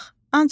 Bax,